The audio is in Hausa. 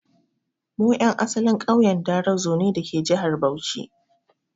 Mu 'yan asalin ƙauyen Darazo ne dake jihar Bauchi.